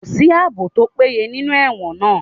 Kò sí àbò tó péye nínú ẹ̀wọ̀n náà